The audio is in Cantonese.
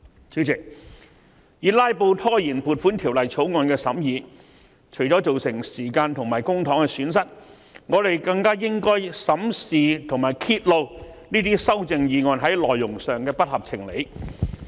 主席，以"拉布"拖延《條例草案》的審議除了會造成時間和公帑方面的損失外，我們更應審視和揭露這些修正案內容的不合情理之處。